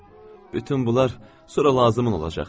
Bütün bunlar sonra lazımın olacaq.